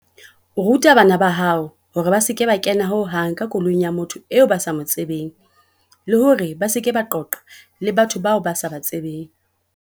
Ruta bana ba hao hore ba se ke ba kena ho hang ka koloing ya motho eo ba sa mo tsebeng, le hore ba se ke ba qoqa le batho bao ba sa ba tsebeng.